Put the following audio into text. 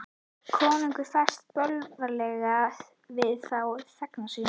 Konungi ferst bölvanlega við þá þegna sína.